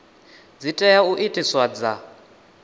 dzi tea u itiwa dza